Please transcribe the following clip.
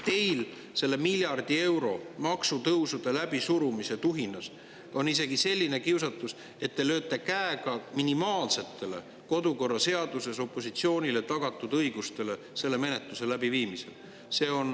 Teil on selle miljardi euro maksutõusude läbisurumise tuhinas isegi selline kiusatus, et te lööte käega kodukorraseaduses opositsioonile tagatud minimaalsetele õigustele selle menetluse läbiviimisel.